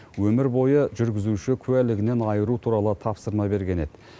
өмір бойы жүргізуші куәлігінен айыру туралы тапсырма берген еді